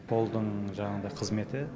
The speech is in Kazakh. қолдың жаңағыдай қызметі